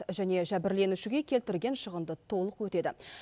және жәбірленушіге келтірген шығынды толық өтеді